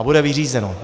A bude vyřízeno.